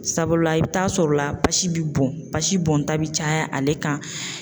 Sabula i bɛ taa sɔrɔla basi bɛ bɔn basi bɔnta bi caya ale kan.